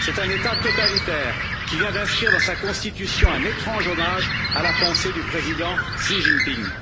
C'est un État totalitaire qui vient d'inscrire dans sa constitution un étrange hommage à la pensée du président Xi Jinping.